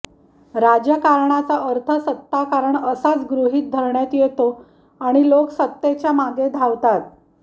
राजकारणाचा अर्थ सत्ताकारण असाच गृहीत धरण्यात येतो आणि लोक सत्तेच्या मागे धावतात